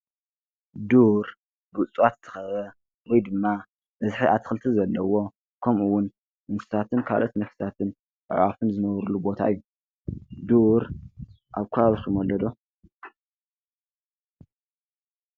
ዱር ብእፁዋት ዝተኸበበ ወይ ድማ በዝሒ ኣትክልቲ ዘለዎ ከምኡውን ነፍሳትን ካልኦት ነፍሳትን፣ ኣዕዋፍን ዝነብሩሉ ቦታ እዩ። ዱር ኣብ ከባቢኩም ኣሎ ዶ?